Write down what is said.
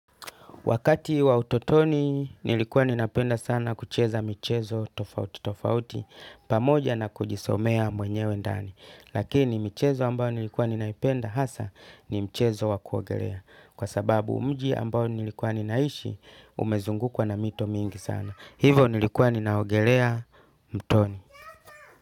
Wakati wa utotoni nilikuwa ninapenda sana kucheza michezo tofauti tofauti pamoja na kujisomea mwenyewe ndani. Lakini michezo ambayo nilikuwa ninaipenda hasa ni mchezo wa kuogelea. Kwa sababu mji ambao nilikuwa ninaishi umezungukwa na mito mingi sana. Hivo nilikuwa ninaogelea mtoni.